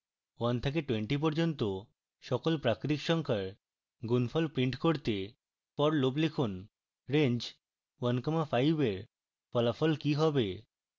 1 থেকে 20 পর্যন্ত সকল প্রাকৃতিক সংখ্যার গুনফল print করতে for loop লিখুন